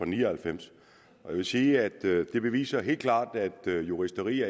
ni og halvfems jeg vil sige at det beviser helt klart at juristeri